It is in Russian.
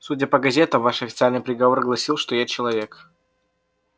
судя по газетам ваш официальный приговор гласил что я человек